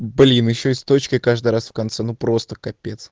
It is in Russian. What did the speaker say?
блин ещеи с точкой каждый раз в конце ну просто капец